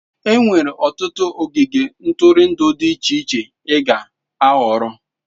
Enwere ọtụtụ ogige ntụrụndụ dị iche iche ịga ịhọrọ.